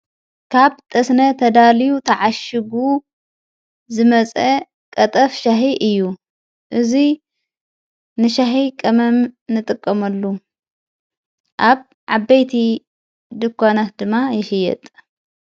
ካብ ጠስነ ተዳልዩ ተዓሽጉ ዝመጸ ቐጠፍ ሻሕ እዩ እዙይ ንሻሕ ቀመም ንጥቀመሉ ኣብ ዓበይቲ ድኳናት ድማ ይሽየጠ።